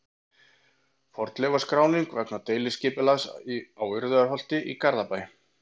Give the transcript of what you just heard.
Fornleifaskráning vegna deiliskipulags á Urriðaholti í Garðabæ.